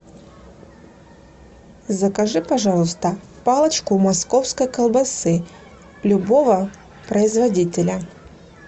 закажи пожалуйста палочку московской колбасы любого производителя